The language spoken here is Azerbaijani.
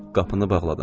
Qapını bağladım.